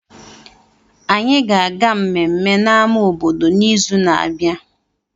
Anyị ga-aga mmemme na ama obodo n'izu na-abịa